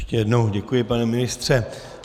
Ještě jednou děkuji, pane ministře.